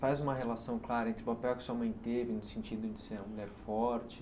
Faz uma relação clara entre o papel que sua mãe teve no sentido de ser uma mulher forte.